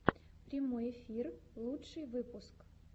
прямой эфир лучший выпуск